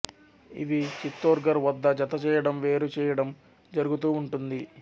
ఇవి చిత్తోర్ఘర్ వద్ద జత చేయడం వేరుచేయడం జరుగుతూ ఉంటుంది